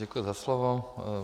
Děkuji za slovo.